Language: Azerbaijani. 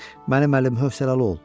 Mənim əlim hövsələli ol.